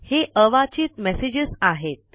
हे अवाचीत मेसेजेस आहेत